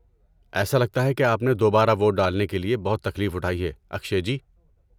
ایسا لگتا ہے کہ آپ نے دوبارہ ووٹ ڈالنے کے لیے بہت تکلیف اٹھائی ہے، اکشئے جی۔